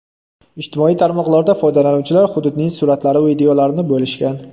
Ijtimoiy tarmoqlarda foydalanuvchilar hududning suratlari va videolarini bo‘lishgan.